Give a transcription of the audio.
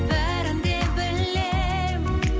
бәрін де білем